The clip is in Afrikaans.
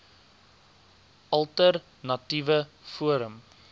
alter natiewe forum